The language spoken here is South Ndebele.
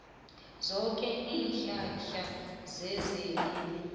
zoke iinhlahla zezelimo